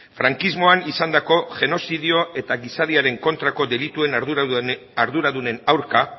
frankismoan izandako genozidio eta gizateriaren kontrako delituen arduradunen aurka